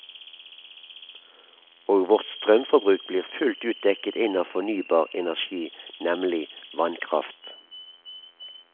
Og vårt strømforbruk blir fullt ut dekket inn av fornybar energi, nemlig vannkraft.